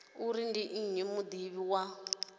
uri ndi nnyi mudivhi wa